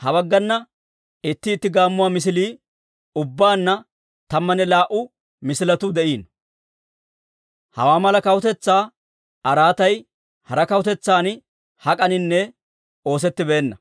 ha baggana itti itti gaammuwaa misilii, ubbaanna tammanne laa"u misiletuu de'iino. Hawaa mala kawutetsaa araatay hara kawutetsan hak'aninne oosettibeenna.